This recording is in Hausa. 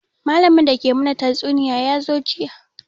Malamin da ke mana tatsuniya ya zo jiya